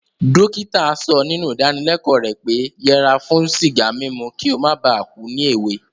Dókítà so nínú ìdáníleko rẹ̀ pé yẹra fún sìgá mímu ki o mó ba ku ni èwe